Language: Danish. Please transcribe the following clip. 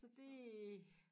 Så det